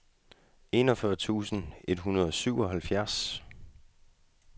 enogfyrre tusind et hundrede og syvoghalvfjerds